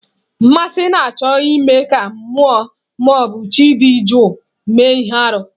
Mmasị na-achọ ime ka mmụọ ma ọ bụ chi dị jụụ mee ihe arụ.